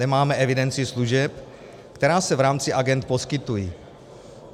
Nemáme evidenci služeb, která se v rámci agend poskytuje.